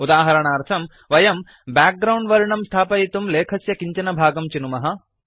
उदाहरणार्थं वयं background वर्णं स्थापयितुं लेखस्य किञ्चन भागं चिनुमः